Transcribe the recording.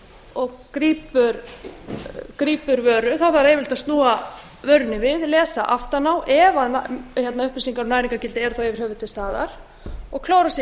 og grípur vöru þá þarf yfirleitt að snúa vörunni við lesa aftan á ef upplýsingar um næringargildi eru þá yfir höfuð til staðar og klára sig í